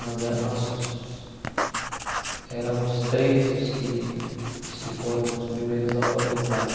Nós é nós éramos três os que os que foram os primeiros alfabetizados.